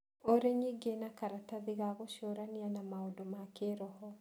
ũrĩ ningĩ na karatathi ka gũcũrania na maũndũ ma kĩroho